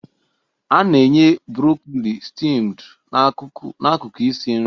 A na-enye broccoli steamed n'akụkụ isi nri